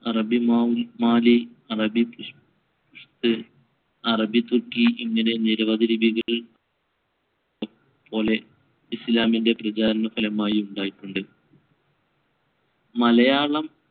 അറബി മാ~ മാലി, , അറബി തുർക്കി എന്നിങ്ങനെ നിരവധി ലിപികൾ പോലെ ഇസ്ലാമിന്‍റെ പ്രചാരണഫലമായി ഉണ്ടായിട്ടുണ്ട്. മലയാളം